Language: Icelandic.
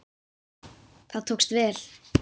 Það tókst vel.